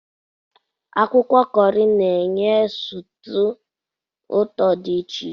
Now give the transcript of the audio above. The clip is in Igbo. Akwụkwọ kọọrị na-enye sutuu ụtọ dị iche.